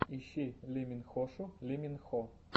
ищи лиминхошу ли мин хо